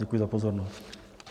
Děkuji za pozornost.